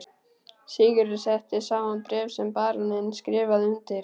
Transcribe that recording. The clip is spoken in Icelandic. Sigurður setti saman bréf sem baróninn skrifaði undir.